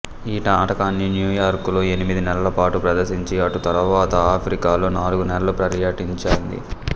ఈ నాటకాన్ని న్యూయార్కులో ఎనిమిది నెలలపాటు ప్రదర్శించి అటు తరువాత ఆఫ్రికాలో నాలుగు నెలలు పర్యటించింది